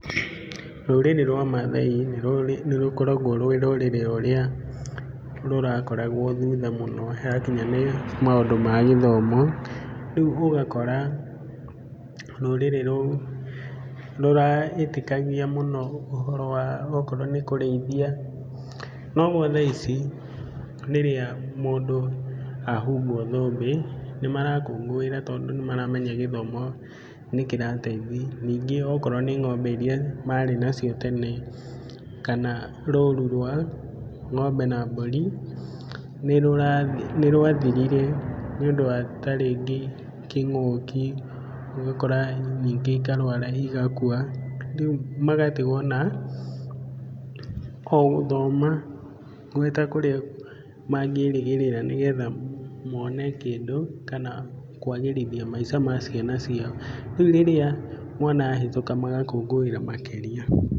Rũrĩrĩ rwa maathai nĩ rũkoragwo rwĩ rũrĩrĩ rũrĩa rũrakoragwo thutha mũno hakinya nĩ maũndũ ma gĩthomo, rĩu ũgakora rũrĩrĩ rũu rũretĩkagia mũno, ũhoro wa okorwo nĩ kũrĩithia. No gwa thaa ici rĩrĩa mũndũ ahumbwo thũmbĩ, nĩmarakũngũĩra tondũ nĩmaramenya gĩthomo, nĩkĩrateithia. Ningĩ akorwo nĩ ngombe iria marĩ na cio tene ,kana rũru rwa ng'ombe na mbũri, nĩ rwathirire nĩ ũndũ wa tarĩngĩ kĩng'ũki, ũgakora ningĩ ikarwara igakua, rĩu magatigwo ona gũthoma, gwĩ ta kũrĩa mangĩrĩgĩrĩra nĩgetha mone kĩndũ, kana kwagĩrithia maica ma ciana ciao. Riu rĩrĩa mwana ahĩtũka magakũngũĩra makĩria.